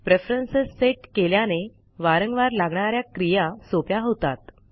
preference set केल्याने वारंवार लागणा या क्रिया सोप्या होतात